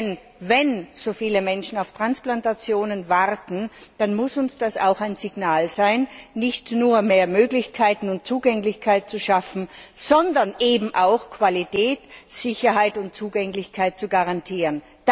Denn wenn so viele Menschen auf Transplantationen warten, dann muss uns das auch ein Signal sein, nicht nur mehr Möglichkeiten und Zugänglichkeit zu schaffen, sondern eben auch Qualität, Sicherheit und Zugänglichkeit zu garantieren.